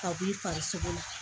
Ka b'i la